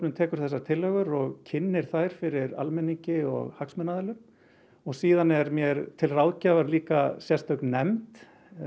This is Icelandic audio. tekur þessar tillögur og kynnir þær fyrir almenningi og hagsmunaaðilum og síðan er mér til ráðgjafar sérstök nefnd